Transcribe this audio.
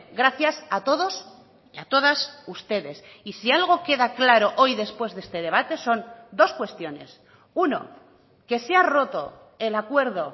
gracias a todos y a todas ustedes y si algo queda claro hoy después de este debate son dos cuestiones uno que se ha roto el acuerdo